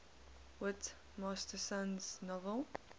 whit masterson's novel